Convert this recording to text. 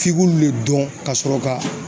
F'i k'olu le dɔn ka sɔrɔ ka